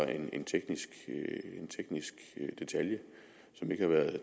en teknisk detalje som ikke har været